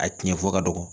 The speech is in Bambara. A tiɲɛ fɔ ka dɔgɔ